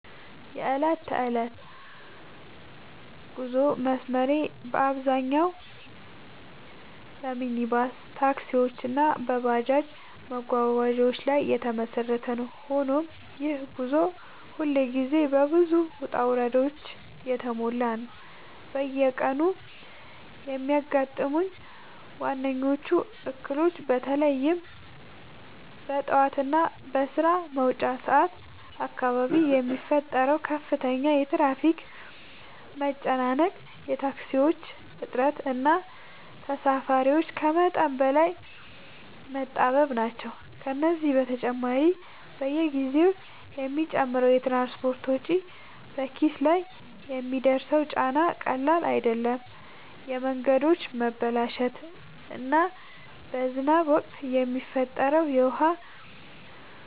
የዕለት ተዕለት የጉዞ መስመሬ በአብዛኛው በሚኒባስ ታክሲዎች እና በባጃጅ መጓጓዣዎች ላይ የተመሰረተ ነው፤ ሆኖም ይህ ጉዞ ሁልጊዜ በብዙ ውጣ ውረዶች የተሞላ ነው። በየቀኑ የሚያጋጥሙኝ ዋነኞቹ እክሎች በተለይም በጠዋት እና በስራ መውጫ ሰዓት አካባቢ የሚፈጠረው ከፍተኛ የትራፊክ መጨናነቅ፣ የታክሲዎች እጥረት እና ተሳፋሪዎች ከመጠን በላይ መጣበብ ናቸው። ከዚህ በተጨማሪ፣ በየጊዜው የሚጨምረው የትራንስፖርት ወጪ በኪስ ላይ የሚያደርሰው ጫና ቀላል አይደለም፤ የመንገዶች መበላሸት እና በዝናብ ወቅት የሚፈጠረው የውሃ